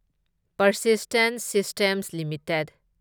Persistent systems limited